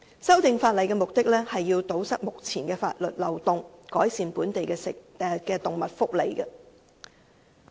《修訂規例》的目的是要堵塞目前的法律漏洞，改善本地的動物福利。